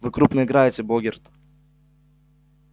вы крупно играете богерт